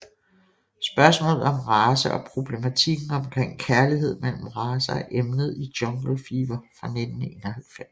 Spørgsmålet om race og problematikken omkring kærlighed mellem racer er emnet i Jungle Fever fra 1991